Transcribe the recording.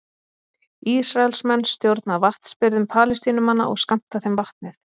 Ísraelsmenn stjórna vatnsbirgðum Palestínumanna og skammta þeim vatnið.